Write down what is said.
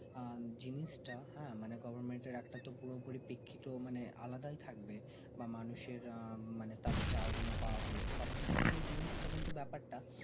আঃ জিনিস তা হ্যাঁ government এর একটা তো পুরো পুরি পিখিত মানে আলাদাই থাকবে বা মানুষের আঃ তাদের চাওয়া গুলো পাওয়া গুলো সব দিকথেকেই জিনিস তা কিন্তু ব্যাপার তা